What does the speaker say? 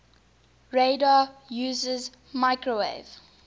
radar uses microwave